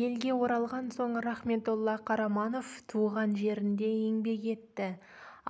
елге оралған соң рахметолла қараманов туған жерінде еңбек етті